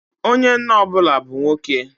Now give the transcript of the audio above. Onye nna ọ bụla bu nwoke.